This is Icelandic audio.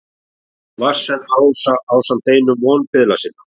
Vatnsenda-Rósa ásamt einum vonbiðla sinna.